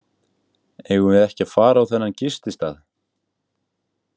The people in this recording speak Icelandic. Eigum við ekki að fara á þennan gististað?